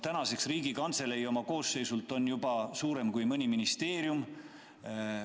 Tänaseks on Riigikantselei oma koosseisult juba suurem kui mõni ministeerium.